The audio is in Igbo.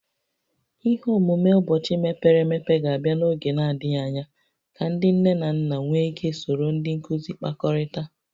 Ihe omume ụbọchị mepere emepe ga-abịa n'oge na-adịghị anya ka ndị nne na nna nwee ike soro ndị nkuzi kpakọrịtaa